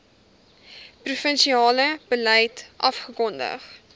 provinsiale beleid afgekondig